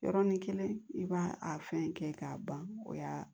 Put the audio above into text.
Yɔrɔnin kelen i b'a a fɛn kɛ k'a ban o y'a